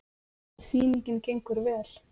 Sýningin gengur vel.